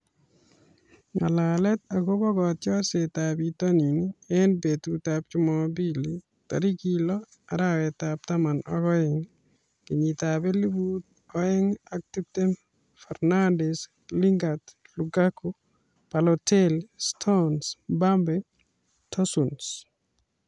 Ng'alalet akobo kotiorsetab bitonin eng betutab Jumapili tarik lo, arawetab taman ak oeng, kenyitab elebu oeng ak tiptem:Fernandes, Lingard, Lukaku, Balotelli, Stones, Mbappe, Tosun